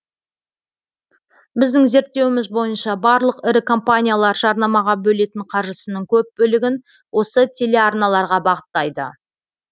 біздің зерттеуіміз бойынша барлық ірі компаниялар жарнамаға бөлетін қаржысының көп бөлігін осы телеарналарға бағыттайды